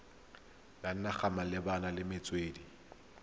ya naga malebana le metswedi